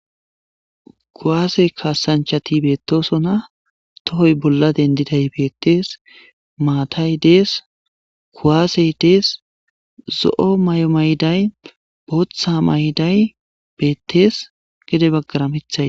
Kuwase kassanchchatii bettossonna tohoy bolla dendidayssi bettes maatay dees kuwasey dees zoo mayo mayiday boththa mayiday beettes gede baggara miiththay beettes